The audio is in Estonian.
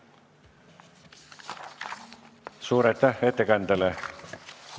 Suur aitäh ettekandjale!